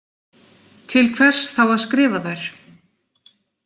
Til hvers þá að skrifa þær?